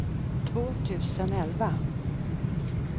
två tusen elva